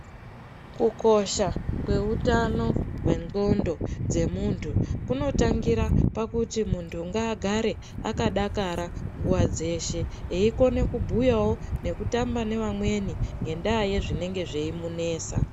Kukosha kweutano wendxondo dzemuntu unotangira pakuti muntu ngaagare akadakara nguwa dzeshe eikone kubhuyawo nekutamba nevamweni ngendaa yezvinenge zveimunetsa.